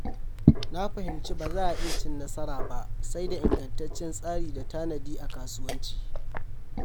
Na fahimci ba za a iya cin nasara ba sai da ingantaccen tsari da tanadi a kasuwanci.